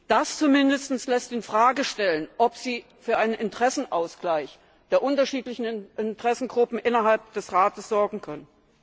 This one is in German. Das zumindest lässt die Frage stellen, ob Sie für einen Interessenausgleich der unterschiedlichen Interessengruppen innerhalb des Rates sorgen können.